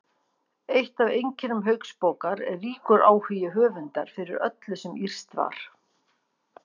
Eitt af einkennum Hauksbókar er ríkur áhugi höfundar fyrir öllu sem írskt var.